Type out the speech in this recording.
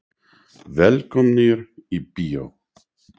Velkomnir í bíó.